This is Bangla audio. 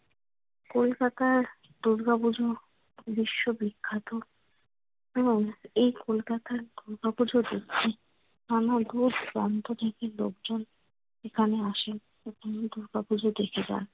কলকাতার দুর্গাপূজা বিশ্ববিখ্যাত এবং এই কলকাতার দূর প্রান্ত থেকে লোকজন এখানে আসেন এবং দুর্গাপূজা দেখে যান।